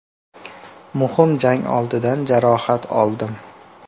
Muhim jang oldidan jarohat oldim.